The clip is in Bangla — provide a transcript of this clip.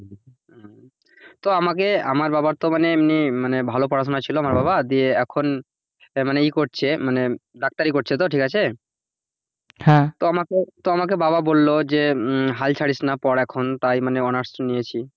তো আমাকে আমার বাবার তো মানে এমনি ভালো পড়াশোনা ছিল আমার বাবার বিয়ে এখন মানে কি করছে? মানে ডাক্তারি করছে তো ঠিক আছে? হ্যাঁ তো মানে আমাকে বাবা বলল যে হাল ছাড়িস না পড় এখন তাই আমি honours নিয়েছি।